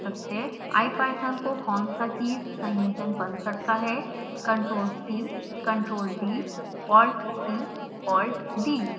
ipython को कौन सा कीज संयोजन बंद करता है